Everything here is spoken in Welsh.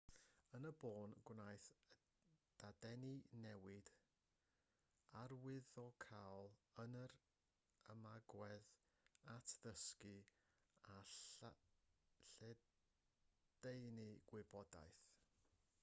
yn y bôn gwnaeth y dadeni newid arwyddocaol yn yr ymagwedd at ddysgu a lledaenu gwybodaeth